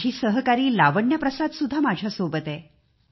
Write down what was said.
माझी सहकारी लावण्या प्रसाद माझ्या सोबत आहे